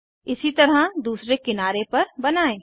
इसी तरह दूसरे किनारे पर बनायें